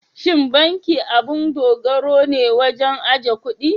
Shin banki abun dogaro ne wajen ajiye kuɗi?